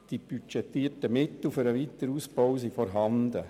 Die budgetierten Mittel für den Weiterausbau sind vorhanden.